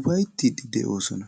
ufayttidi de'oosona.